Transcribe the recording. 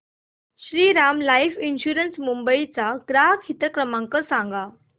Shriram life insurance Mumbai चा ग्राहक हित क्रमांक सांगा